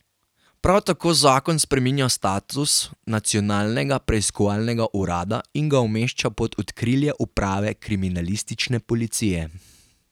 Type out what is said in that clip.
Prav tako zakon spreminja status Nacionalnega preiskovalnega urada in ga umešča pod okrilje uprave kriminalistične policije.